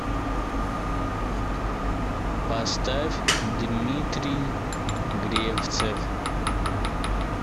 поставь дмитрий гревцев